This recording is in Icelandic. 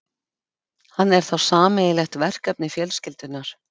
Hann er þá sameiginlegt verkefni fjölskyldunnar.